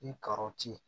Ni karɔti